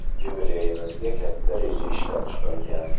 Yubileyimizga katta reja ishlab chiqilgan.